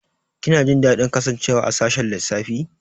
Kina jin daɗin kasancewa a sashin lissafi?